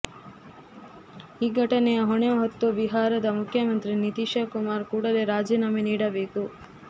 ಈ ಘಟನೆಯ ಹೊಣೆ ಹೊತ್ತು ಬಿಹಾರದ ಮುಖ್ಯಮಂತ್ರಿ ನಿತೀಶಕುಮಾರ್ ಕೂಡಲೆ ರಾಜಿನಾಮೆ ನೀಡಬೇಕು